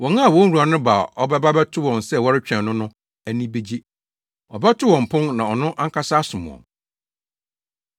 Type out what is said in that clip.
Wɔn a wɔn wura no ba a ɔbɛba abɛto wɔn sɛ wɔretwɛn no no ani begye. Ɔbɛto wɔn pon na ɔno ankasa asom wɔn.